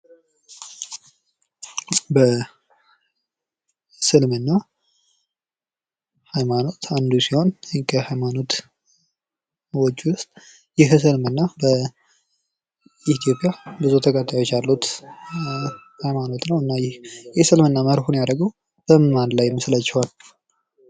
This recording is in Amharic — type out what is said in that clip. በእስልምና ሃይማኖት አንዱ ሲሆን ይህ ከሀይማኖዎች ዉስጥ በኢትዮጵያ ብዙ ተከታዮች ያሉ ሲሆን ህይማኖት ነው። እና ይህ የስልምና ህይማኖት ማርኩን ያደረገው በምን ላይ ይመስላችኋል?